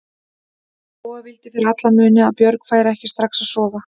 Lóa vildi fyrir alla muni að Björg færi ekki strax að sofa.